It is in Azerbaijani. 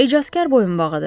Ecasqar boyunbağıdır.